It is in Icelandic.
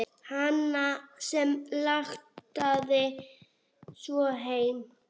Hana sem langaði svo heim.